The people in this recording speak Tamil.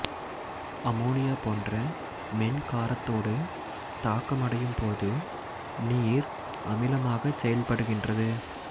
அமோனியா போன்ற மென்காரத்தோடு தாக்கமடையும் போது நீர் அமிலமாகச் செயற்படுகின்றது